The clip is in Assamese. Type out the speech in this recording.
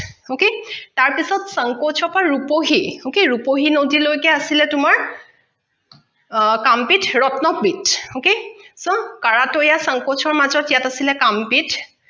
তাৰ পিছত চাংকোচৰ পৰা ৰুপহী okay ৰুপহী নদীলৈকে আছিলে তোমাৰ তাম পিঠ ৰত্ন পিঠ okay so কাৰাটৈয়া চাংকোচৰ মাজত ইয়াত আছিলে তাম পিঠ